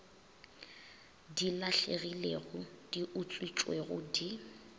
di lahlegilego di utswitšwego di